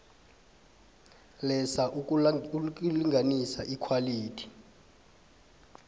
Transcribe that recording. lesa lokulinganisa ikhwalithi